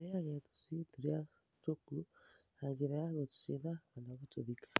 Gũteaga tũcui tũrĩa tũkuũ na njĩra ya gũtũcina kana gũtũthika.